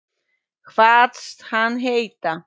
Kvaðst hann heita